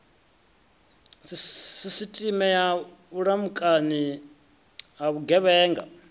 sisiteme ya vhulamukanyi ha vhugevhenga